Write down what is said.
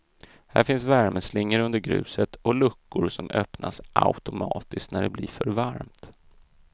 Här finns värmeslingor under gruset och luckor som öppnas automatiskt när det blir för varmt.